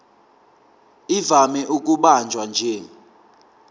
ivame ukubanjwa nje